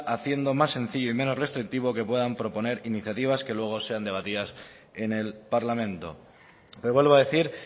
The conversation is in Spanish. haciendo más sencillo y menos restrictivo que puedan proponer iniciativas que luego sean debatidas en el parlamento pero vuelvo a decir